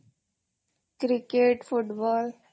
cricket football